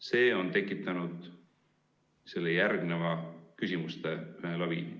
See on tekitanud selle küsimuste laviini.